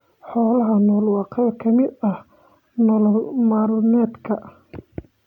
Xoolaha nool waa qayb ka mid ah nolol maalmeedka.